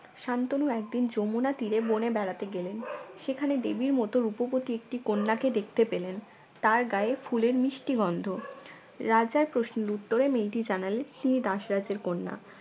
শান্তনু একদিন যমুনা তীরে বনে বেড়াতে গেলেন সেখানে দেবীর মত রূপবতী একটি কন্যাকে দেখতে পেলেন তার গায়ে ফুলের মিষ্টি গন্ধ রাজার প্রশ্নের উত্তরে মেয়েটি জানালে্ন তিনি দাসরাজের কন্যা